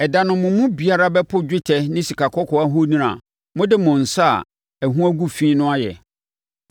Ɛda no mo mu biara bɛpo dwetɛ ne sikakɔkɔɔ ahoni a mode mo nsa a ɛho agu fi no ayɛ.